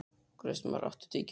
Kristmar, áttu tyggjó?